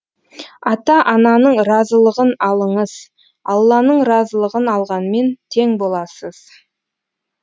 ата ананың разылығын алыңыз алланың разылығын алғанмен тең боласыз